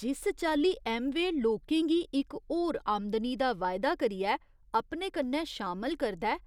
जिस चाल्ली ऐम्वेऽ लोकें गी इक होर आमदनी दा वायदा करियै अपने कन्नै शामल करदा ऐ,